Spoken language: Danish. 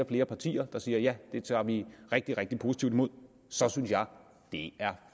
flere partier der siger ja det tager vi rigtig rigtig positivt imod så synes jeg det er